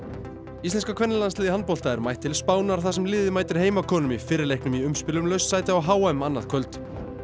íslenska kvennalandsliðið í handbolta er mætt til Spánar þar sem liðið mætir heimakonum í fyrri leiknum í umspili um laust sæti á h m annað kvöld